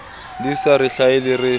di sa re hlahele re